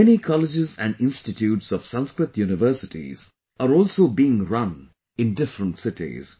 Many colleges and institutes of Sanskrit universities are also being run in different cities